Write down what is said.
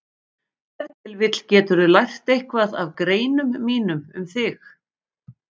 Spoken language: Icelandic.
Ef til vill geturðu lært eitthvað af greinum mínum um þig.